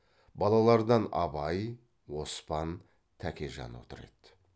балалардан абай оспан тәкежан отыр еді